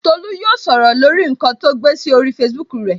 Tolu yóò sọ̀rọ̀ lórí nkan to gbé sí orí Facebook rẹ